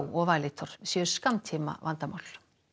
og Valitor séu skammtímavandamál